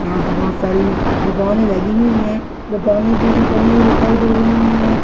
यहां पे बहुत सारी दुकानें लगी है दुकानें कोई भी बंद नही दिखाई दे रही है।